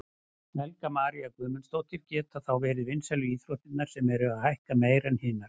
Helga María Guðmundsdóttir: Geta þá verið vinsælu íþróttirnar sem eru að hækka meira en hinar?